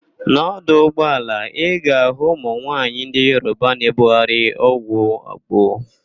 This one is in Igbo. N'ọdụ ụgbaala, ị ga-ahụ ụmụ nwaanyị ndị Yoroba na-ebugharị ọgwụ agbo.